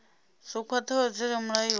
dzo khwathaho dzi re mulayoni